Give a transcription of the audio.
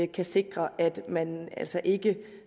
kan sikre at man altså ikke